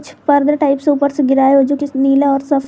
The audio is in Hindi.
पर्दा टाइप से ऊपर से गिरा है जो कि नीला और सफे--